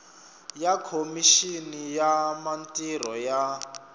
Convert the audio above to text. ya khomixini ya mintirho ya